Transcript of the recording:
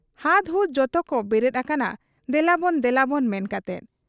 ᱦᱟᱫᱽᱦᱩᱫᱽ ᱡᱚᱛᱚᱠᱚ ᱵᱮᱨᱮᱫ ᱟᱠᱟᱱᱟ ᱫᱮᱞᱟᱵᱚᱱ ᱫᱮᱞᱟᱵᱚᱱ ᱢᱮᱱ ᱠᱟᱛᱮ ᱾